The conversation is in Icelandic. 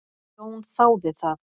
Jón þáði það.